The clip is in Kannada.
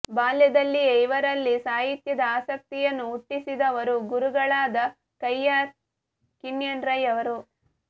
ಬಾಲ್ಯದಲ್ಲಿಯೇ ಇವರಲ್ಲಿ ಸಾಹಿತ್ಯದ ಆಸಕ್ತಿಯನ್ನು ಹುಟ್ಟಿಸಿದವರು ಗುರುಗಳಾದ ಕಯ್ಯಾರ ಕಿಞ್ಞಣ್ಣ ರೈಯವರು